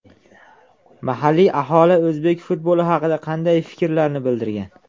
Mahalliy aholi o‘zbek futboli haqida qanday fikrlarni bildirgan?